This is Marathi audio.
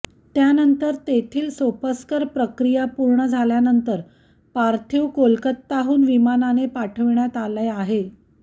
त्यानंतर तेथील सोपस्कर प्रक्रिया पूर्ण झाल्यानंतर पार्थीव कोलकताहून विमानाने पाठविण्यात आला आहे